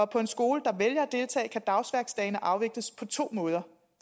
på en skole der vælger at deltage kan dagsværksdagen afvikles på to måder